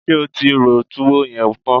Ṣé o ti ro túwó yẹn tán?